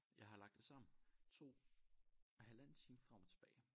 Jeg har lagt det sammen 2 halvanden time frem og tilbage